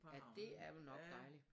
Ja det er vel nok dejligt